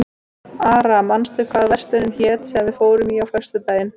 Ara, manstu hvað verslunin hét sem við fórum í á föstudaginn?